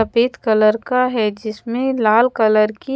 सफेद कलर का है जिसमे लाल कलर की--